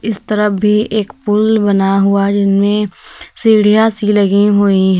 इस तरह भी एक पुल बना हुआ जिनमें सीढ़ियां सी लगी हुई--